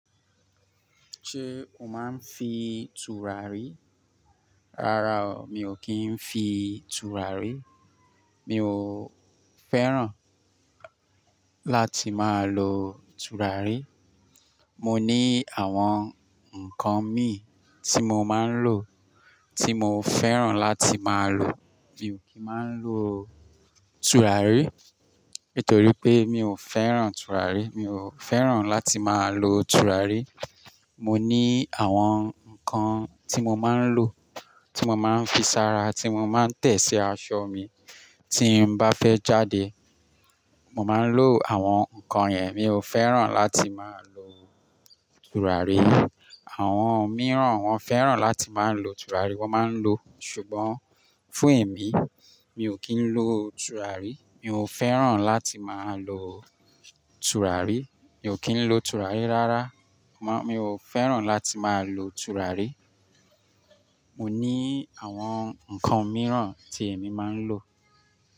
Ṣé o máa ń fi tùràrí? Rárá o, mi ò kí ń fi tùràrí. Mi ò fẹ́ràn láti máa lo tùràrí. Mo ní àwọn nǹkan mi tí mo máa ń lò, tí mo fẹ́ràn láti máa lò. Mi ò kí ń máa ń lo tùràrí nítorí pé mi ò fẹ́ràn tùràrí. Mi ò fẹ́ràn láti máa lo tùràrí. Mo ní àwọn nǹkan tí mo máa ń lò, tí mo máa ń fi sára, tí mo máa ń tẹ̀ sí aṣọ mi, tí n bá fẹ́ jáde. Mo máa ń lo àwọn nǹkan yen. Mi ò fẹ́ràn láti máa lo tùràrí. Àwọn mìíràn wọ́n fẹ́ràn láti máa lo tùràrí, wọ́n máa ń lo. Ṣùgbọ́n fún èmi, mi ò kí ń lo tùràrí. Mi ò fẹ́ràn láti máa lo tùràrí. Mi ò kí ń lo tùràrí rárá. Mo, mi ò fẹ́ràn láti máa lo tùràrí. Mo ní àwọn nǹkan mìíràn tí èmi máa ń lò.